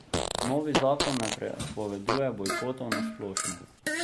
Novi zakon ne prepoveduje bojkotov na splošno.